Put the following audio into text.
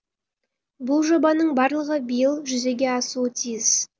бұл жобаның барлығы биыл жүзеге асуы тиіс